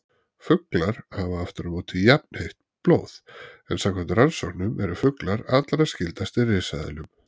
Fuglar hafa aftur á móti jafnheitt blóð, en samkvæmt rannsóknum eru fuglar allra skyldastir risaeðlum.